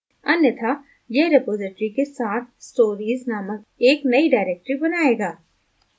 अन्यथा यह रिपॉज़िटरी के साथ stories नामक एक नयी directory बनाएगा